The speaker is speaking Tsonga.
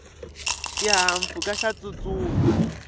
xihahampfhuka xa tsutsuma